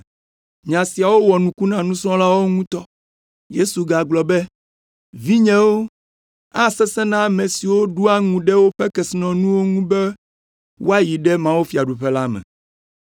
Nya siawo wɔ nuku na nusrɔ̃lawo ŋutɔ. Yesu gagblɔ be, “Vinyewo, asesẽ na ame siwo ɖoa ŋu ɖe woƒe kesinɔnuwo ŋu be woayi ɖe mawufiaɖuƒe la me!